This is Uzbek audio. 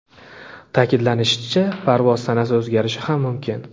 Ta’kidlanishicha, parvoz sanasi o‘zgarishi ham mumkin.